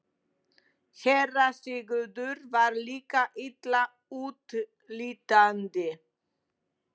SÉRA SIGURÐUR: Var líkið illa útlítandi?